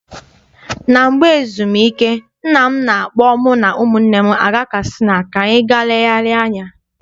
Mgbe ezumike, nna m na-akpọ mụ na ụmụnne m aga Katsina ka anyị ga legharia anya.